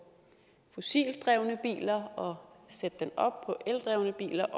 fossilt drevne biler og sætte den op på eldrevne biler